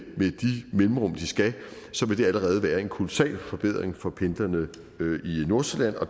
de mellemrum de skal så vil det allerede være en kolossal forbedring for pendlerne i nordsjælland og